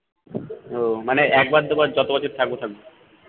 উহ মানে একবার দুবার যত বছর থাকবো থাকবো